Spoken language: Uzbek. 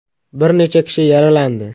Bir necha kishi yaralandi.